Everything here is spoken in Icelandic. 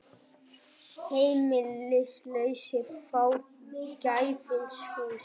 Heimilislausir fá gefins hús